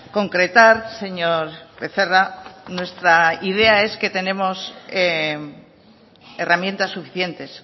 concretar señor becerra nuestra idea es que tenemos herramientas suficientes